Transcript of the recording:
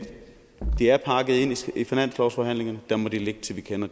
det er pakket ind i finanslovsforhandlingerne og der må det ligge til vi kender